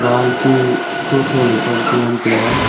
wall chu tho tho le kuam chu ngan tai aa.